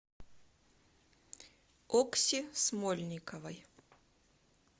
окси смольниковой